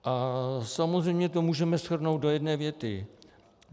A samozřejmě to můžeme shrnout do jedné věty.